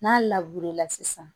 N'a la sisan